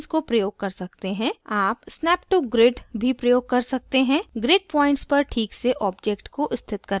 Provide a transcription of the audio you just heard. आप snap to grid भी प्रयोग कर सकते हैं* grid points पर ठीक से object को स्थित करने के लिए